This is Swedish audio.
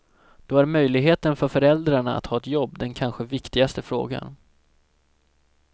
Då är möjligheten för föräldrarna att ha ett jobb den kanske viktigaste frågan.